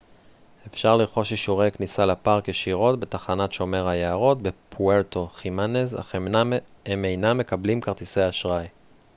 אפשר לרכוש אישורי כניסה לפארק ישירות בתחנת שומר היערות בפוארטו חימנז אך הם אינם מקבלים כרטיסי אשראי